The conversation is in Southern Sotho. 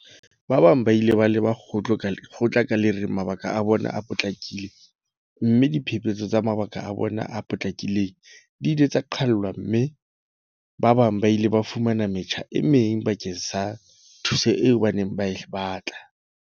Ba bang ba ile ba leba kgotla ka le reng mabaka a bona a potlakile mme diphephetso tsa mabaka a bona a potlakileng di ile tsa qhalwa mme ba bang ba ile ba fumana metjha e meng bakeng sa thuso eo ba neng ba e batla.